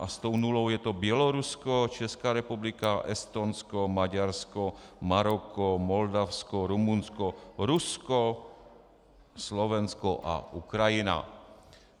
A s tou nulou je to Bělorusko, Česká republika, Estonsko, Maďarsko, Maroko, Moldavsko, Rumunsko, Rusko, Slovensko a Ukrajina (?).